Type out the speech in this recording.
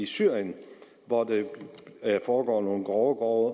syrien hvor der foregår nogle grove grove